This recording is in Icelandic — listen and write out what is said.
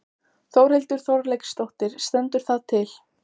Þórhildur Þorkelsdóttir: Stendur það til?